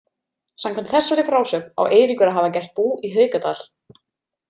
Samkvæmt þessari frásögn á Eiríkur að hafa gert bú í Haukadal.